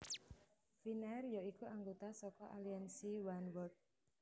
Finnair ya iku anggota saka aliansi Oneworld